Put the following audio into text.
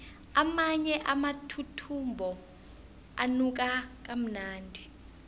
amanye amathuthumbo anuka kamnandi